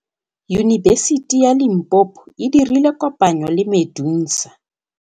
Yunibesiti ya Limpopo e dirile kopanyô le MEDUNSA.